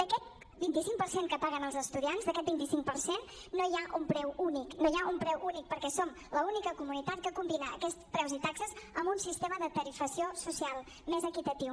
d’aquest vint cinc per cent que paguen els estudiants d’aquest vint cinc per cent no hi ha un preu únic no hi ha un preu únic perquè som l’única comunitat que combina aquests preus i taxes amb un sistema de tarifació social més equitatiu